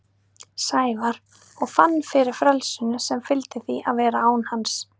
Sævar og fann fyrir frelsinu sem fylgdi því að vera án hans.